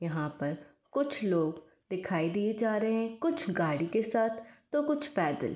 यहाँ पर कुछ लोग दिखाए दिए जा रहे हैं। कुछ गाड़ी के साथ तो कुछ पैदल।